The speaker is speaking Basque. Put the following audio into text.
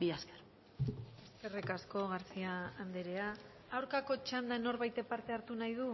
mila esker eskerrik asko garcía andrea aurkako txandan norbaitek parte hartu nahi du